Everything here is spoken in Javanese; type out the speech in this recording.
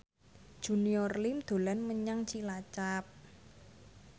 Junior Liem dolan menyang Cilacap